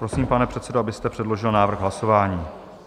Prosím, pane předsedo, abyste předložil návrh hlasování.